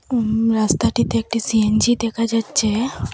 উম রাস্তাটিতে একটি সি_এন_জি দেখা যাচ্ছে।